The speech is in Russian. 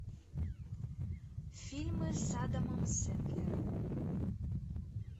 фильмы с адамом сэндлером